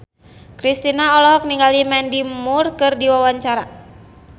Kristina olohok ningali Mandy Moore keur diwawancara